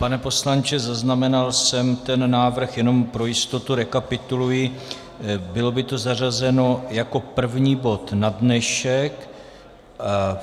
Pane poslanče, zaznamenal jsem ten návrh, jenom pro jistotu rekapituluji: Bylo by to zařazeno jako první bod na dnešek.